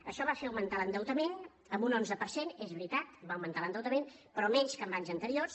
això va fer augmentar l’endeutament en un onze per cent és veritat va augmentar l’endeutament però menys que en anys anteriors